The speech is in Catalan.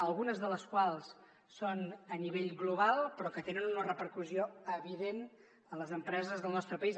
algunes de les quals són a nivell global però que tenen una repercussió evident en les empreses del nostre país